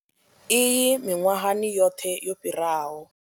Iyi miṅwahani yoṱhe yo fhiraho.